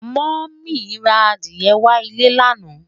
moo mí ra Adiye wà ilé lana